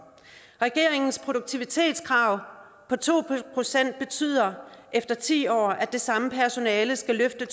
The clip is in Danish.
regeringens produktivitetskrav på to procent betyder efter ti år at det samme personale skal løfte